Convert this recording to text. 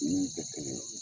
Min tɛ kelen ye.